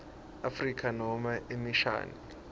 afrika nobe emishani